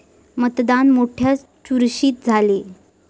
मतदान मोठय़ा चुरशीत झाले.